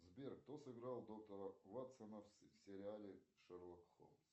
сбер кто сыграл доктора ватсона в сериале шерлок холмс